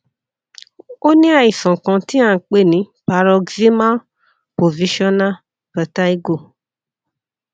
ó ní àìsàn kan tí a ń pè ní paroxysmal positional vertigo